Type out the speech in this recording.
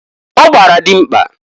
Ọ gbara dịmkpa